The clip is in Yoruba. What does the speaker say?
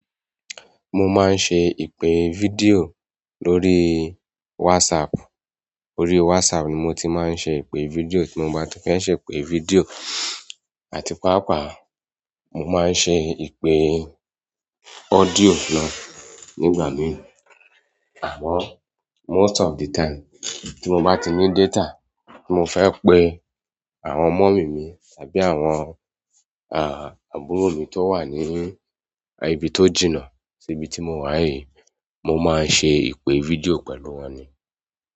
Mo máa ń ṣe ìpè fídíò lórí WhatsApp. Orí WhatsApp ni mo ti máa ń ṣe ìpè video, tí mo bá ti fẹ́ ṣe ìpè video àti pàápàá mo máa ń ṣe ìpè Audio náà nígbà míì. Àmọ́ most of the time tí mo bá ti ní data tí mo fẹ́ pe àwọn mummy mi tàbí àwọn, àbúrò mi t'ó wà ní ibi tó jìnnà ibi tí mo wà yìí, mo máa ń ṣe ìpè video pẹ̀lú wọn ni.